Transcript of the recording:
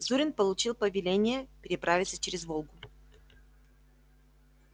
зурин получил повеление переправиться через волгу